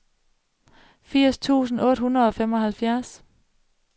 firs tusind otte hundrede og fireoghalvfjerds